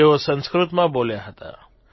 તેઓ સંસ્કૃતમાં બોલ્યા હતા